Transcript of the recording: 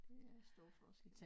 Det er stor forskel